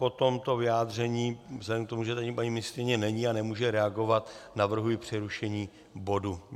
Po tomto vyjádření, vzhledem k tomu, že tady paní ministryně není a nemůže reagovat, navrhuji přerušení bodu.